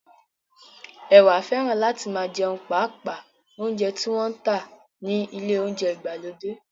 Ẹwà fẹ́ràn láti máa jẹun paapa óúnjẹ tí wọ́n ń tà ní ilé óúnjẹ ìgbàlódé